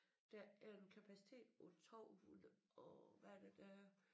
Der er en kapacitet på 12 hundrede og hvad er det der er